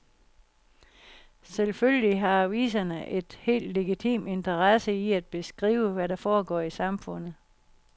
Selvfølgelig har aviserne en helt legitim interesse i at beskrive, hvad der foregår i samfundet.